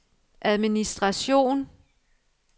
administration